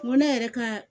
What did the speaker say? N ko ne yɛrɛ ka